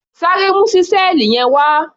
Sáré mu ṣísẹ́ẹ̀lì yẹn wá!